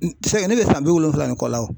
N ne bɛ san bi wolonwula ni kɔ la o.